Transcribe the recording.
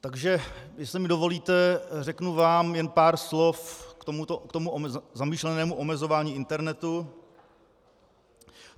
Takže jestli mi dovolíte, řeknu vám jen pár slov k tomu zamýšlenému omezování internetu.